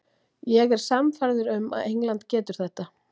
Ég er sannfærður um að England getur þetta.